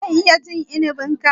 Zan iya cin inibin ka?